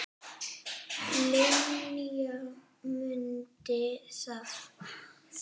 Linja, mundu það.